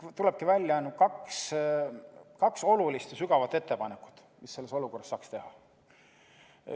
Siit tulebki välja kaks olulist ja sisukat ettepanekut, mida selles olukorras saaks teha.